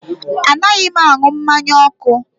Anaghị m aṅụ mmanya ọkụ